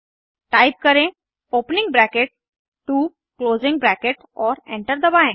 type करें opening bracket 2 closing bracket और enter दबाएं